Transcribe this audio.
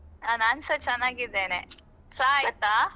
ಹ ನಾನ್ಸ ಚನ್ನಗಿದ್ದೇನೆ ಚಾ ಆಯ್ತಾ?